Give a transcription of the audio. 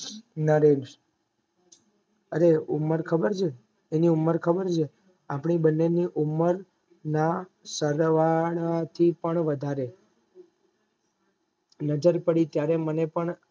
નરેશ અરે ઉમર ખબર છે તને ઉમર ખબર છે આપદા બેવ ની ઉમર ના સરવાળાથી પણ વધારે નજર પડી ત્યારે મને પણ